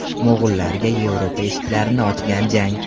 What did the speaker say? Mo‘g‘ullarga Yevropa eshiklarini ochgan jang.